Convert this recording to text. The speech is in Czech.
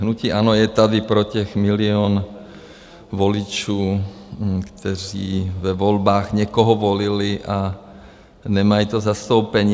Hnutí ANO je tady pro těch milionu voličů, kteří ve volbách někoho volili a nemají to zastoupení.